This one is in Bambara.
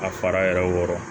A fara yɛrɛ wɔɔrɔ